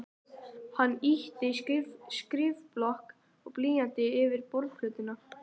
Hann ýtti skrifblokk og blýanti yfir borðplötuna.